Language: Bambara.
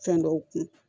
Fɛn dɔw kun